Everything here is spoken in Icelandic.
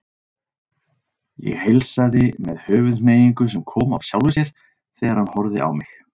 Ég heilsaði með höfuðhneigingu sem kom af sjálfu sér þegar hann horfði á mig.